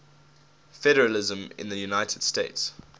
federalism in the united states